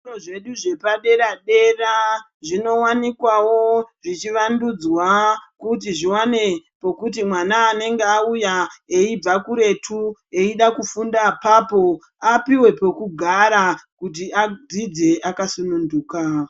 Zvikoro zvedu zvepadera-dera zvinowanikwawo zvichivandudzwa kuti zviwane pokuti mwana anenge auya eibva kuretu eida kufunda apapo apuwe pekugara kuti adzidze akasununguka.